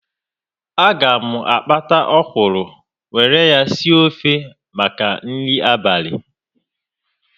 A ga m akpata ọkwụrụ were ya sie ofe maka nri abalị